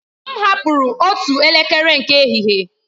M hapụrụ otu elekere nke ehihie.